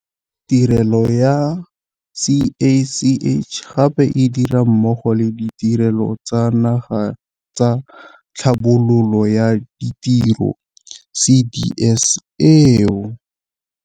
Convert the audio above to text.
Tirelo ya CACH gape e dira mmogo le Ditirelo tsa Naga tsa Tlhabololo ya Ditiro, CDS, eo.